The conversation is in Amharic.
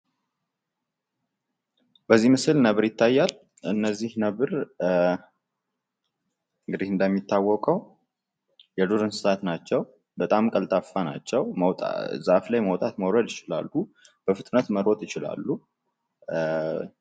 በዚህ ምስል ነብር ይታያል እነዚህ ነበር እንግዲህ እንደሚታወቀው የዱር እንስሳት ናቸው በጣም ቀልጣፋ ናቸው ዛፍ ላይ መውጣት መውረድ ይችላሉ ፤በፍጥነት መሮጥ ይችላሉ